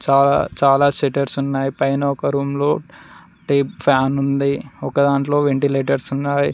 చాలా సెటర్స్ ఉన్నాయి పైన ఒక రూమ్ లో టేబుల్ ఫ్యాన్ ఉంది ఒకదాంట్లో వెంటిలేటర్స్ ఉన్నాయి.